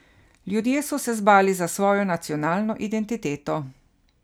Ljudje so se zbali za svojo nacionalno identiteo.